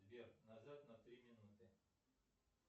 сбер назад на три минуты